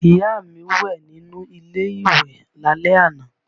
Ìyá mi wẹ̀ nínú ilé ìwẹ̀ lálẹ́ àná